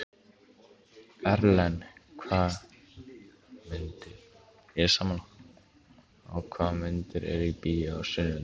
Erlen, hvaða myndir eru í bíó á sunnudaginn?